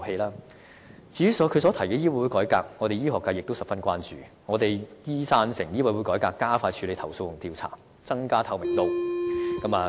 對於她提出的醫委會改革，醫學界也是十分關注的。我們贊成醫委會改革以加快處理投訴和調查，增加透明度。